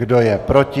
Kdo je proti?